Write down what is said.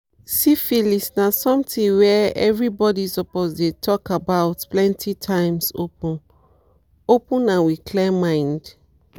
siphilis na something were every body suppose dey talk about plenty times open-open and with clear mind